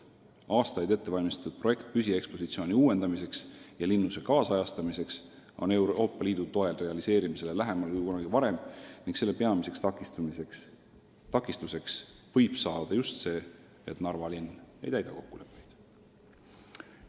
Aastaid ettevalmistatud projekt püsiekspositsiooni uuendamiseks ja linnuse kaasajastamiseks on Euroopa Liidu toel realiseerimisele lähemal kui kunagi varem ning selle peamiseks takistuseks võib saada just see, et Narva linn ei täida kokkuleppeid.